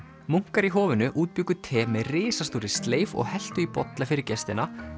munkar í hofinu útbjuggu te með risastórri sleif og helltu í bolla fyrir gestina